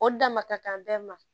O damata kan bɛɛ ma